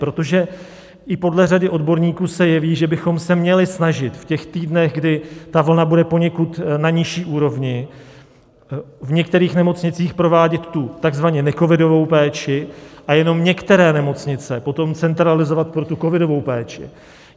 Protože i podle řady odborníků se jeví, že bychom se měli snažit v těch týdnech, kdy ta vlna bude poněkud na nižší úrovni, v některých nemocnicích provádět tu takzvaně necovidovou péči a jenom některé nemocnice potom centralizovat pro tu covidovou péči.